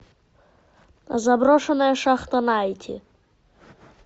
заброшенная шахта найти